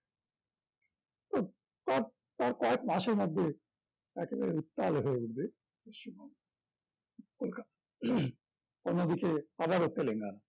তো তার তার কয়েক মাসের মধ্যে একেবারে উত্তাল হয়ে উঠবে পশ্চিমবঙ্গ কলকাতা অন্যদিকে আবারও তেলেঙ্গানা